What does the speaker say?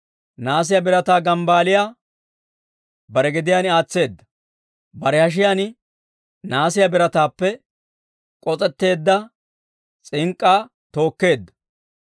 Nahaasiyaa birataa gambbaaliyaa bare gediyaan aatseedda; bare hashiyaan nahaasiyaa birataappe k'os'etteedda s'ink'k'aa tookeedda.